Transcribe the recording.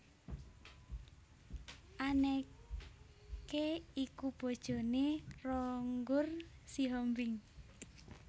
Anneke iku bojoné Ronggur Sihombing